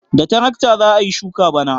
Da tarakta za a yi shuka bana.